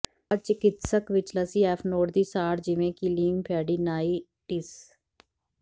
ਬਾਲ ਚਿਕਿਤਸਕ ਵਿਚ ਲਸੀਐਫ ਨੋਡ ਦੀ ਸਾੜ ਜਿਵੇਂ ਕਿ ਲੀਮਫੈਡੀਨਾਈਟਿਸ